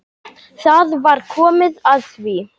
Það var komið að því.